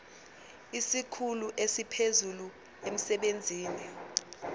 isikhulu esiphezulu emsebenzini